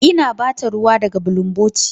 Ina ba ta ruwa daga bulunboti.